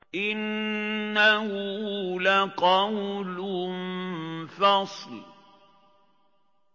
إِنَّهُ لَقَوْلٌ فَصْلٌ